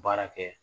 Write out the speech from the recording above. Baara kɛ